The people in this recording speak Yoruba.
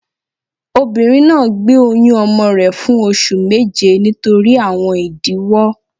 Obìnrin náà gbé oyún ọmọ rẹ fun oṣù méje nítorí àwọn ìdíwó